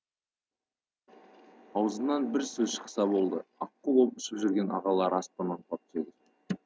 аузынан бір сөз шықса болды аққу боп ұшып жүрген ағалары аспаннан құлап түседі